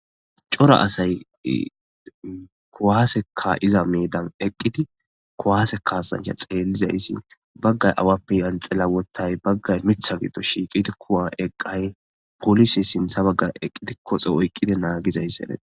cora asay kuwase ka7iza medan eqqidi kuwase kasancha xeellizayssi baggay awappe yanxila wothay baggay mitha giddo shiiqidi kuwa eqqay polise sintha baggara eqqidi koxe oyqqide naagizaysi Desi.